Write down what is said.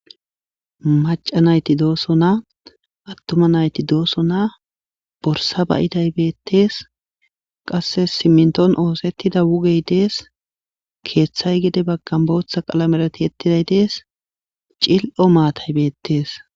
Macca nayiti dooson atuma nayiti dooson borsa ba'iday bettees qasse siminton oththetida wugey desse keththayi gede baggani booththa qalamera tiyetiday desse cil'o mattayi betees.